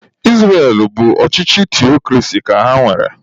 Israel bụ ọchịchị theokrasi ka ha nwere.